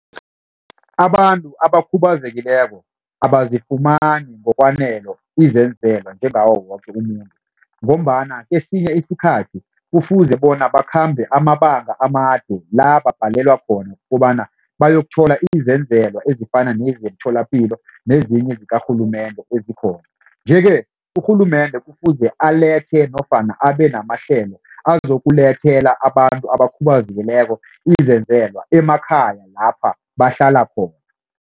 Abantu abakhubazekileko abazifumani izenzelwa njengawo woke umuntu. Ngombana kesinye isikhathi kufuze bona bakhambe amabanga amade la babhalelwa khona kobana bayokuthola izenzelwa ezifana nezemitholapilo nezinye zikarhulumende ezikhona. Nje-ke urhulumende kufuze alethe nofana abenamahlelo azokulethela abantu abakhubazekileko izenzelwa emakhaya lapha bahlala khona.